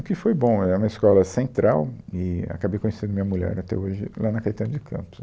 O que foi bom, é uma escola central e acabei conhecendo minha mulher até hoje lá na Caetano de Campos.